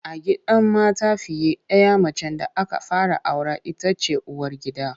A gidan mata fiye ɗaya macen da aka fara aura ita ce uwargida.